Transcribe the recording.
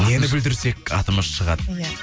нені бүлдірсек атымыз шығады иә